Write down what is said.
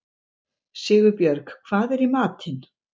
Sigurbjörg, hvað er í matinn?